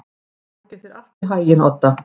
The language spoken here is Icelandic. Gangi þér allt í haginn, Odda.